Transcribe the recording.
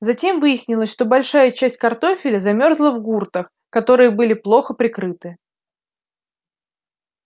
затем выяснилось что большая часть картофеля замёрзла в гуртах которые были плохо прикрыты